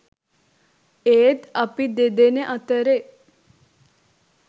ඒත් අපි දෙදෙන අතරේ